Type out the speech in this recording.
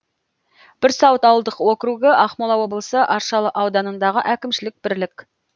бірсуат ауылдық округі ақмола облысы аршалы ауданындағы әкімшілік бірлік